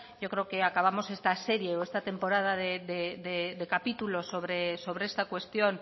yo creo que acabamos esta serie o esta temporada de capítulos sobre esta cuestión